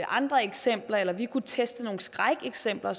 andre eksempler eller vi kunne teste nogle skrækeksempler